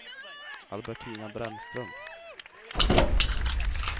Albertina Brännström